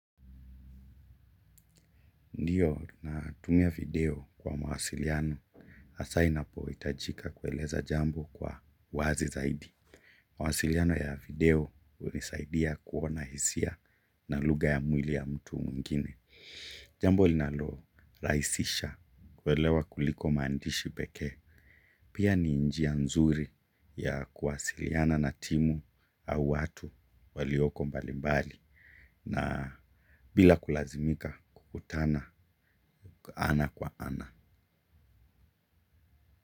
Ndiyo, natumia video kwa mawasiliano, hasa inapo itajika kueleza jambo kwa wazi zaidi. Mawasiliano ya video hunisaidia kuona hisia na lugha ya mwili ya mtu mwingine. Jambo linalo rahisisha kuelewa kuliko maandishi peke. Pia ni njia nzuri ya kuwasiliana na timu au watu walioko mbalimbali. Na bila kulazimika kukutana ana kwa ana.